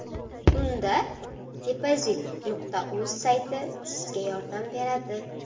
Unda, depozit.uz sayti sizga yordam beradi!